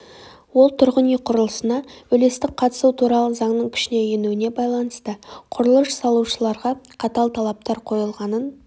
ол тұрғын үй құрылысына үлестік қатысу туралы заңның күшіне енуіне байланысты құрылыс салушыларға қатал талаптар қойылғанын